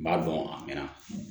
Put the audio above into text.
N b'a dɔn a mɛnna